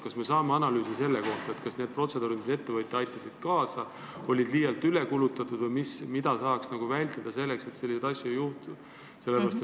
Kas me saame analüüsi selle kohta, et kas need protseduurid, mis ette võeti, aitasid asjale kaasa, kas oli liialt üle kulutatud ja mida saaks teha selleks, et selliseid asju ei juhtuks?